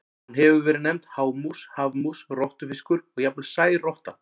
Hún hefur verið nefnd hámús, hafmús, rottufiskur og jafnvel særotta.